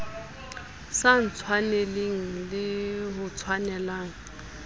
sa ntshwaneleng le ho ntshwanela